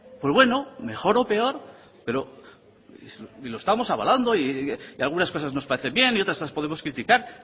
pues bueno mejor o peor lo estamos avalando y algunas cosas nos parecen bien y otras las podemos criticar